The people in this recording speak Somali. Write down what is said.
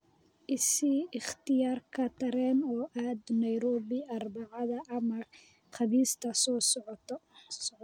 I sii ikhtiyaarka tareen u aado nairobi Arbacada ama Khamiista soo socota